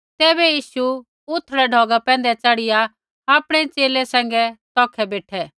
तैबै यीशु उथड़ी धारा पैंधै च़ढ़िया आपणै च़ेले सैंघै तौखै बेठै